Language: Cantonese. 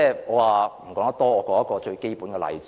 我說一個最基本的例子。